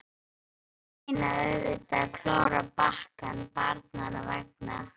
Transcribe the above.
Sumir reyna auðvitað að klóra í bakkann barnanna vegna.